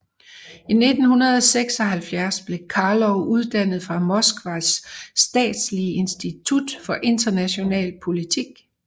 I 1976 blev Karlov uddannet fra Moskvas statslige institut for international politik